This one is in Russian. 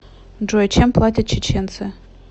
джой чем платят чеченцы